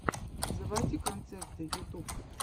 заводи концерты ютуб